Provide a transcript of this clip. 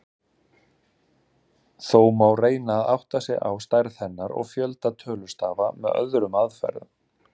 Þó má reyna að átta sig á stærð hennar og fjölda tölustafa með öðrum aðferðum.